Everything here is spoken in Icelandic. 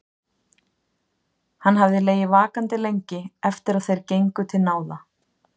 Hann hafði legið vakandi lengi eftir að þeir gengu til náða.